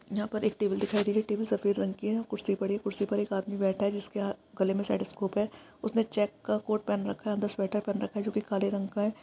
यहाँ पर एक टेबल दिखाई दे रही है। टेबल सफेद रंग की है। कुर्सी पड़ी है। कुर्सी पर एक आदमी बैठा है जिसके ह गले मे स्टैथौस्कोप है उसने चेक का कोट पहन रखा है अंदर स्वेटर पहन रखा है जोकि काले रंग का है।